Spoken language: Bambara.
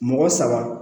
Mɔgɔ saba